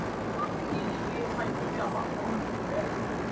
Aðrir drekka í óhófi og sumir verða áfengissýki að bráð.